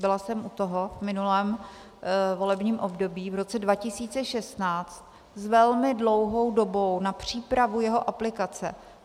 Byla jsem u toho v minulém volebním období v roce 2016 s velmi dlouhou dobou na přípravu jeho aplikace.